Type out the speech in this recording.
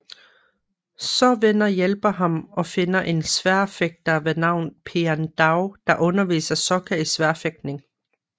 Så venner hjælper ham og finder en sværdfægter ved navn Piandao der underviser Sokka i sværfægtning